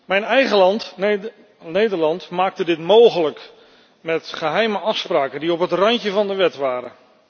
Mijn eigen land, Nederland, maakte dit mogelijk met geheime afspraken die op het randje van de wet waren.